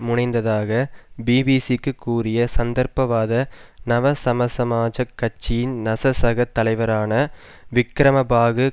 முனைந்ததாக பிபிசிக்கு கூறிய சந்தர்ப்பவாத நவ சமசமாஜக் கட்சியின் நசசக தலைவரான விக்கிரமபாகு